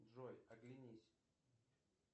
джой оглянись